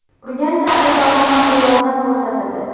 Urganch shahrida onaxonga yordam ko‘rsatildi.